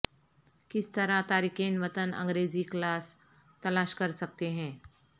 کس طرح تارکین وطن انگریزی کلاس تلاش کرسکتے ہیں